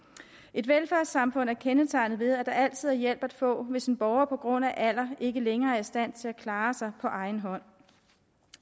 et velfærdssamfund er kendetegnet ved at der altid er hjælp at få hvis en borger på grund af alder ikke længere er i stand til at klare sig på egen hånd